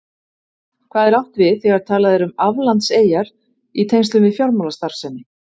Hvað er átt við þegar talað er um aflandseyjar í tengslum við fjármálastarfsemi?